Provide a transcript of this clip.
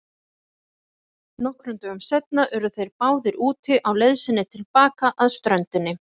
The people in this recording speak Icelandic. Nokkrum dögum seinna urðu þeir báðir úti á leið sinni til baka að ströndinni.